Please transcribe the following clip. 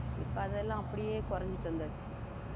இப்ப அதெல்லாம் அப்படியே குறைஞ்சிட்டு வந்தாச்சு